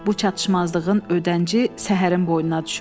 Bu çatışmazlığın ödənci Səhərin boynuna düşürdü.